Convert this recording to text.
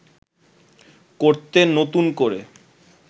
করতে নতুন করে